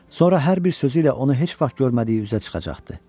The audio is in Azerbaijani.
Sonra hər bir sözü ilə onu heç vaxt görmədiyi üzə çıxacaqdı.